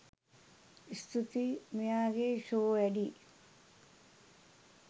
ස්තූතියි.මෙයාගේ show වැඩියි.